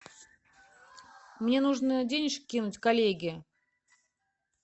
мне нужно денежки кинуть коллеге